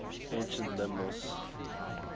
ancient lemnos